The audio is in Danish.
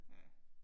Ja